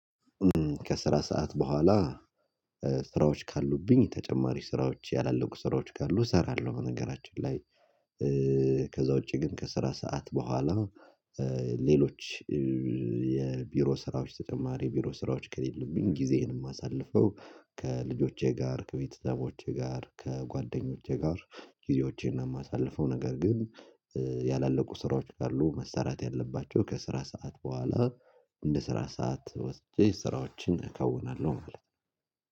ከስራ ሰዓት በኋላ ስራዎች ካሉብኝ ተጨማሪ ስራዎች ያላለቁ ስራዎች ካሉ እሰራለሁ በነገራችን ላይ። ከዛ ውጪ ግን ከስራ ሰዓት በኋላ ሌሎች የቢሮ ስራዎች ተጨማሪ የቢሮ ስራዎች ከሌለብኝ ጊዜዬንም አሳልፈው ከልጆቼ ጋር ከቤተሰቦቼ ጋር ከጓደኞቼ ጋር ጊዜዎቼን የማሳልፈው ነገር ግን ያላለቁ ስራዎች ካሉ መሰራት ያለባቸው ከስራ ሰዓት በኋላ እንደ ስራ ሰዓት ወስጄ ስራዎችን እከውናለሁ።